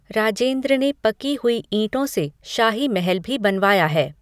राजेंद्र ने पकी हुई ईंटों से शाही महल भी बनवाया है।